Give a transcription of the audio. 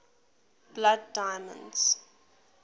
blood diamonds